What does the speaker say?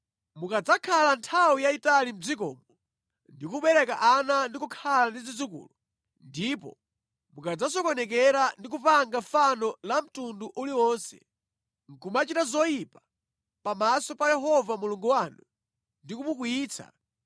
Mukadzakhala nthawi yayitali mʼdzikomo ndi kubereka ana ndi kukhala ndi zidzukulu ndipo mukadzasokonekera ndi kupanga fano la mtundu uliwonse, nʼkumachita zoyipa pamaso pa Yehova Mulungu wanu ndi kumukwiyitsa,